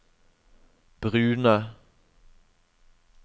brune